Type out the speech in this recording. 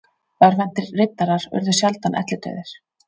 Örvhentir riddarar urðu sjaldan ellidauðir.